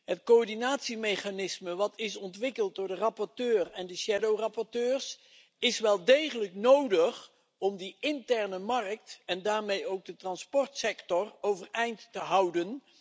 Het coördinatiemechanisme dat is ontwikkeld door de rapporteur en de schaduwrapporteurs is wel degelijk nodig om die interne markt en daarmee ook de transportsector overeind te houden.